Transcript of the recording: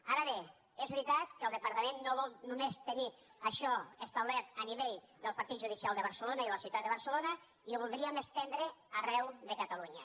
ara bé és veritat que el departament no vol només tenir això establert a nivell del partit judicial de barcelona i de la ciutat de barcelona i ho voldríem estendre arreu de catalunya